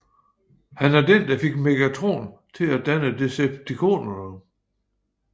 Han er den der fik Megatron til at danne Decepticonerne